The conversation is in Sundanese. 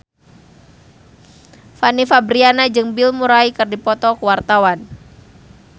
Fanny Fabriana jeung Bill Murray keur dipoto ku wartawan